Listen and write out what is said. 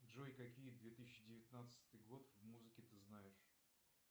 джой какие две тысячи девятнадцатый год музыки ты знаешь